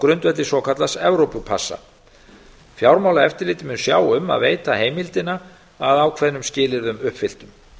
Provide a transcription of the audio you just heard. grundvelli svokallaðs evrópupassa fjármálaeftirlitið mun sjá um að veita heimildina að ákveðnum skilyrðum uppfylltum